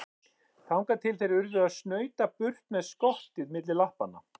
Þangað til þeir urðu að snauta burt með skottið milli lappanna.